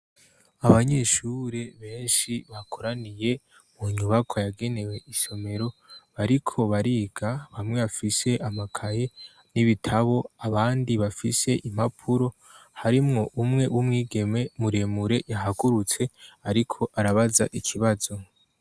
Abanyeshure benshi bakoraniye mu nyubako yagenewe isomero bariko bariga bamwe bafise amakaye n'ibitabo abandi bafise impapuro harimwo umwe w'umwigeme muremure yahagurutse, ariko arabaza ikibazo.